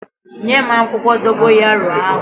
Nyem akwukwo dogoyaro ahu!